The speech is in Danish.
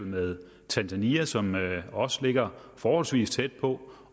med tanzania som også ligger forholdsvis tæt på